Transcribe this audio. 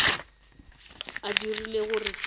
a dirile gore ke be